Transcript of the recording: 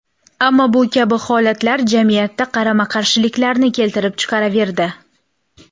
Ammo bu kabi holatlar jamiyatda qarama-qarshiliklarni keltirib chiqaraverdi.